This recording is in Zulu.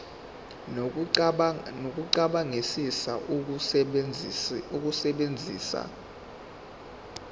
nokucabangisisa ukusebenzisa ulimi